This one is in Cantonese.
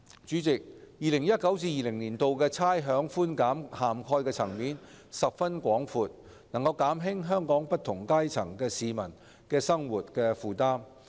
主席 ，2019-2020 年度的差餉寬減涵蓋層面十分廣闊，能減輕香港不同階層市民的生活負擔。